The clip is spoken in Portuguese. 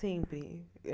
Sempre.